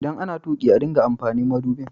ldan ana tuki a dinga amfani madubin.